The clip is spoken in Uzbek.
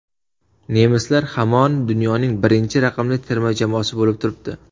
Nemislar hamon dunyoning birinchi raqamli terma jamoasi bo‘lib turibdi.